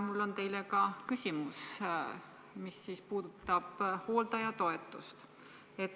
Mul on teile küsimus, mis puudutab hooldajatoetust.